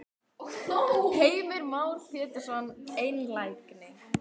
Heimir Már Pétursson: Einlægni?